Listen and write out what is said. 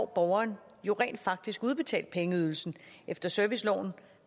borgeren jo rent faktisk udbetalt pengeydelsen efter serviceloven